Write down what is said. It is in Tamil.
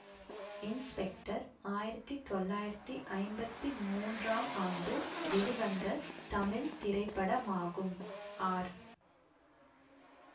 இன்ஸ்பெக்டர் ஆயிரத்தி தொள்ளாயிரத்தி ஐம்பத்தி மூன்றாம் ஆண்டு வெளிவந்த தமிழ் திரைப்படமாகும் ஆர்